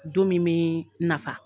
Don min bɛ nafa.